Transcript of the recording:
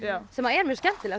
sem er mjög skemmtilegt